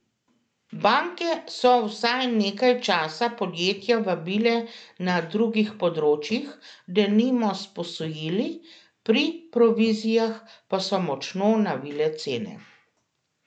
Banke so vsaj nekaj časa podjetja vabile na drugih področjih, denimo s posojili, pri provizijah pa so močno navile cene.